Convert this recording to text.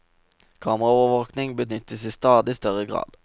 Kameraovervåking benyttes i stadig større grad.